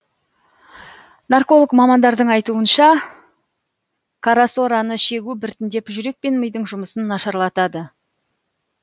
нарколог мамандардың айтуынша карасораны шегу біртіндеп жүрек пен мидың жұмысын нашарлатады